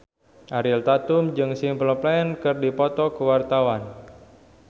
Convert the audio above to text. Ariel Tatum jeung Simple Plan keur dipoto ku wartawan